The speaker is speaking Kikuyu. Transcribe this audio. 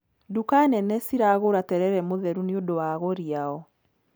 Nduka nene ci ragũra terere mũtheru nĩ ũndũ wa agũri a o.